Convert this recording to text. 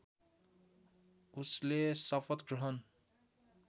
उसले शपथ ग्रहण